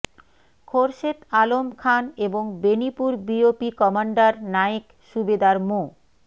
খোরশেদ আলম খান এবং Benipur BOP commander Naik Subedar মো